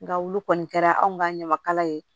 Nga olu kɔni kɛra anw ka ɲamakala ye